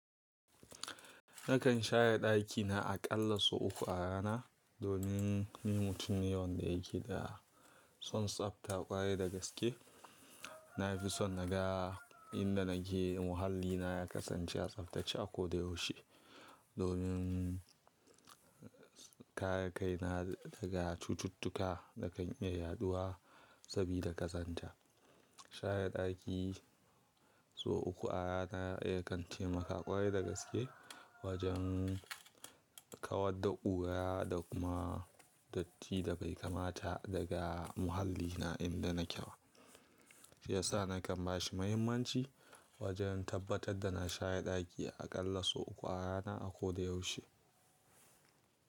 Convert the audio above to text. Nakan share ɗakina aƙalla sau uku a rana. Domin ni mutum ne wanda yake da son tsabta ƙwarai da gaske. Na fi son naga inda nake muhallina ya kasance a tsaftace a koda yaushe. Domin kare kai na daga cututtuka da kan iya yaɗuwa sabida ƙazanta. Share ɗaki sau uku a rana yakan taimaka ƙwarai da gaske wajen kawar da ƙura da kuma datti da bai kamata daga muhallina inda na ke wa. Shi yasa nakan ba shi muhimmanci wajen tabbatar da na shaye ɗaki aƙalla sau uku a rana a koda yaushe.